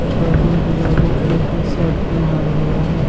एक आदमी गुलाबी कलर का सर्ट पहना हुआ है।